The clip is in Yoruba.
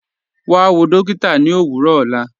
Wà wọ̀ dọ̀kìtà ní òwurọ̀ ọlá